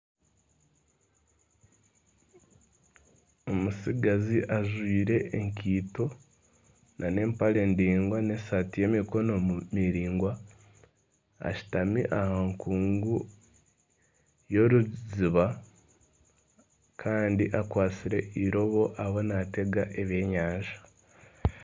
Omutsigazi ajwaire ekaito, n'empare ndaingwa n'esaati y'emikono miraingwa ashutami aha nkungu y'eiziiba kandi akwatsire iroobo ariho naatega ebyenyanja.